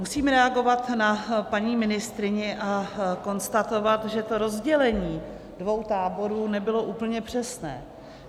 Musím reagovat na paní ministryni a konstatovat, že to rozdělení dvou táborů nebylo úplně přesné.